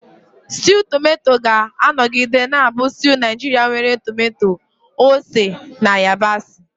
Stew Tomato ga-anọgide na-abụ stew Naijiria nwere tomato, ose, na yabasị.